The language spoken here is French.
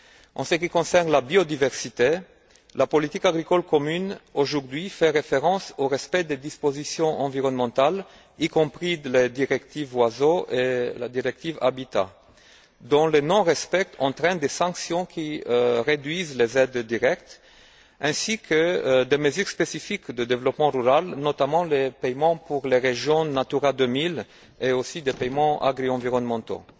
En ce qui concerne la biodiversité, la politique agricole commune fait référence aujourd'hui au respect des dispositions environnementales, y compris de la directive Oiseaux et de la directive Habitat, dont le non respect entraîne des sanctions qui réduisent les aides directes, ainsi que des mesures spécifiques de développement rural, notamment les paiements pour les régions Natura 2000 et aussi des paiements agri environnementaux.